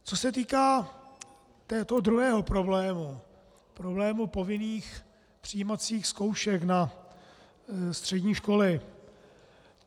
Co se týká toho druhého problému, problému povinných přijímacích zkoušek na střední školy.